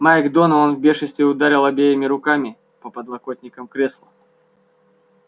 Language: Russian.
майк донован в бешенстве ударил обеими руками по подлокотникам кресла